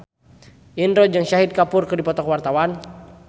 Indro jeung Shahid Kapoor keur dipoto ku wartawan